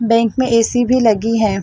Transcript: Bank में AC भी लगी है।